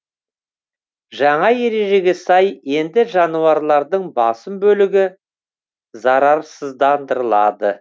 жаңа ережеге сай енді жануарлардың басым бөлігі зарарсыздандырылады